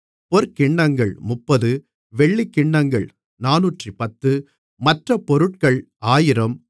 பொற்கிண்ணங்கள் 30 வெள்ளிக் கிண்ணங்கள் 410 மற்றப் பொருட்கள் 1000